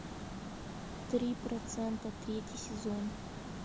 три процента третий сезон